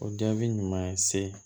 O jaabi ɲuman ye se